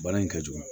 Bana in ka jugu